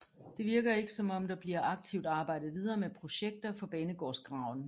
Det virker ikke som om der bliver aktivt arbejdet videre med projekter for banegårdsgraven